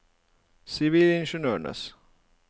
sivilingeniørers